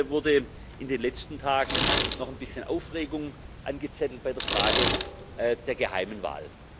Und jetzt wurde in den letzten Tagen noch ein bisschen Aufregung angezettelt bei der Frage der geheimen Wahl.